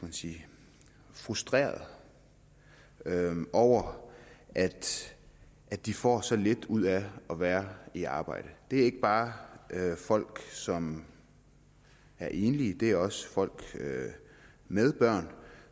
man sige frustrerede over at de får så lidt ud af at være i arbejde det er ikke bare folk som er enlige det er også folk med børn